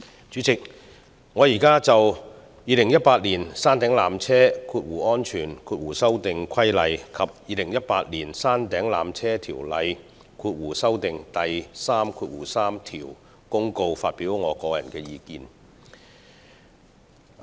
主席，我現在就《2018年山頂纜車規例》及《2018年山頂纜車條例條)公告》發表我的個人意見。